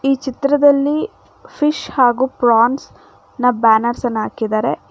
ಈ ಚಿತ್ರದಲ್ಲಿ ಪಿಶ್ ಹಾಗು ಪ್ರಾನ್ಸ್ ನ ಬ್ಯಾನರ್ಸ್ ಅನ್ನ ಹಾಕಿದ್ದಾರೆ.